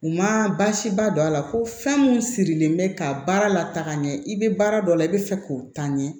U ma baasiba don a la ko fɛn mun sirilen bɛ ka baara lataga ɲɛ i bɛ baara dɔ la i bɛ fɛ k'o ta ɲɛ